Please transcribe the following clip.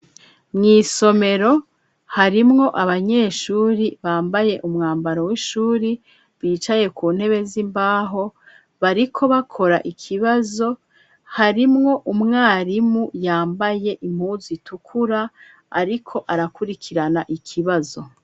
Mwisomero harimwo abanyeshuri bambaye umwambaro w'ishuri bicaye ku ntebe z'imbaho bariko bakora ikibazo harimwo umwarimu yambaye impuzu itukura ariko arakurikirana ikibazo.